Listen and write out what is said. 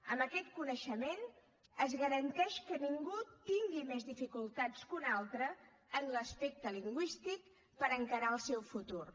amb aquest coneixement es garanteix que ningú tingui més dificultats que un altre en l’aspecte lingüístic per encarar el seu futur